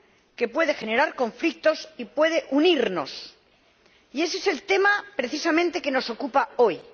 que puede generar conflictos y puede unirnos, y ese es precisamente el tema que nos ocupa hoy.